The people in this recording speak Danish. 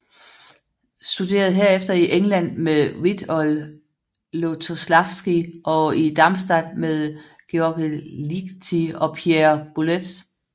Studerede herefter i England med Witold Lutoslawski og i Darmstadt med György Ligeti og Pierre Boulez